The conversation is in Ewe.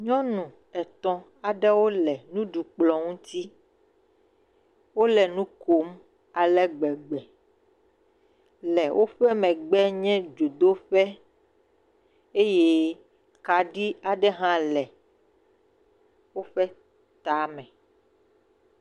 Nyɔnu etɔ aɖewo le nuɖukplɔ ŋuti, wole nukom alegbegbe. Le woƒe megbe nye dzodoƒe eye kaɖi aɖe ha le woƒe tame.